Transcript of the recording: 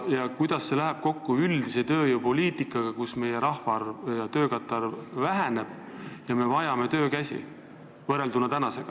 Ja kuidas see läheb kokku üldise tööjõupoliitikaga, mis peab arvestama seda, et meie rahvaarv ja töökäte arv väheneb?